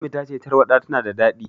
Ummi ta ce tarwaɗa tana da daɗi.